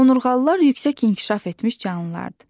Onurğalılar yüksək inkişaf etmiş canlılardır.